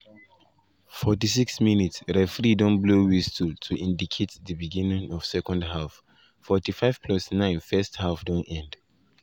46’ referee don blow whistle to indicate di beginning of second half 45+9 first half don end.